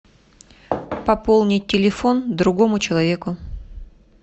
пополнить телефон другому человеку